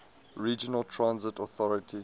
regional transit authority